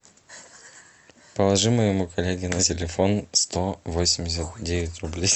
положи моему коллеге на телефон сто восемьдесят девять рублей